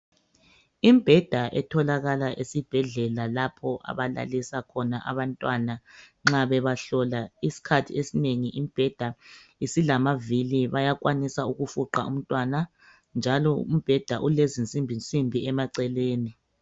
Imbheda etholakala esibhedlela lapho abalalisa khona abantwana nxa bebahlola iskhathi esinengi imbheda isilamavili bayakwanisa ukufuqa umntwana njalo umbeda ulezinsimbinsimbi emaceleni.